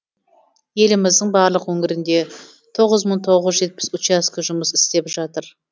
еліміздің барлық өңірінде тоғыз мың тоғыз жүз жетпіс учаске жұмыс істеп жатыр